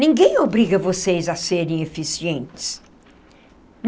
Ninguém obriga vocês a serem eficientes.